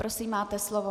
Prosím, máte slovo.